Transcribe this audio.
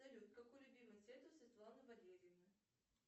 салют какой любимый цвет у светланы валерьевны